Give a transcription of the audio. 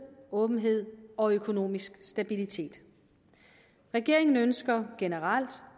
åbenhed og økonomisk stabilitet regeringen ønsker generelt